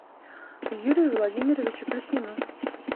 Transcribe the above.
юрию владимировичу плюснину